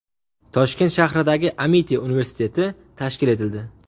Toshkent shahridagi Amiti universiteti tashkil etildi.